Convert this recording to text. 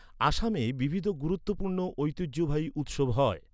আসামে বিবিধ গুরুত্বপূর্ণ ঐতিহ্যবাহী উৎসব হয়।